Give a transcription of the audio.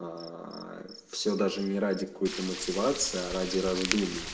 ааа всё даже не ради какой-то мотивации а ради раздумий